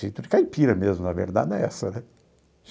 Jeito de caipira mesmo, na verdade, é essa, né?